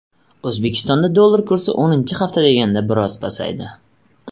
O‘zbekistonda dollar kursi o‘ninchi hafta deganda biroz pasaydi .